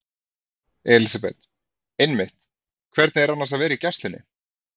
Elísabet: Einmitt, hvernig er annars að vera í gæslunni?